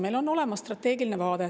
Meil on olemas strateegiline vaade.